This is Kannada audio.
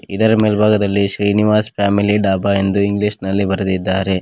ಇದರ ಮೇಲ್ಭಾಗದಲ್ಲಿ ಶ್ರೀನಿವಾಸ್ ಫ್ಯಾಮಿಲಿ ಡಾಬಾ ಎಂದು ಇಂಗ್ಲೀಷ್ ನಲ್ಲಿ ಬರೆದಿದ್ದಾರೆ.